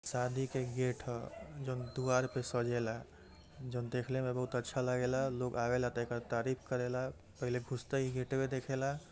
शादी के गेट ह जोन दुवार पे सजेला जोन देखले में बहुत अच्छा लागेला लोग आवेला त एकर तारीफ करेला पहले घुसते इ गेटवे देखेला।